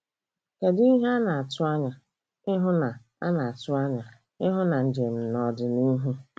kedụ ihe ana-atụanya ịhụ na ana-atụanya ịhụ na njem n'ọdịnihu.